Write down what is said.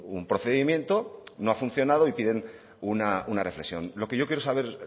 un procedimiento no ha funcionado y piden una reflexión lo que yo quiero saber